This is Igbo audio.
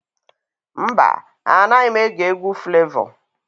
Mba, Anaghị m ege egwu Flevọ.